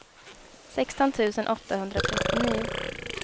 sexton tusen åttahundratrettionio